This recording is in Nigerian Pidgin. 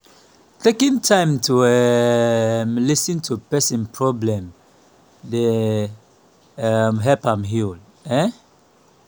taking time to um lis ten to pesin problem dey um help am heal. um